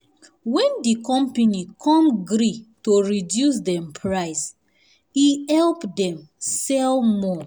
wen di company come gree to reduce dem price e help them sell more.